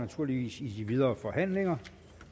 naturligvis i de videre forhandlinger